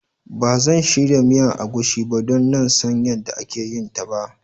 Ban zan shirya miyan agushi ba don nan San yanda ake yin ta ba.